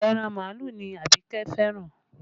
Ẹran màálù ni Abike fẹ́ràn